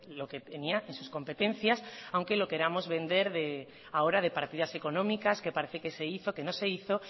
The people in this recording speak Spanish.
lo que tenía en sus competencias aunque lo queramos vender ahora de partidas económicas que parece que se hizo que no se hizo